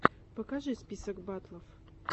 покажи список батлов